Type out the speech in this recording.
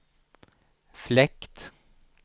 fläkt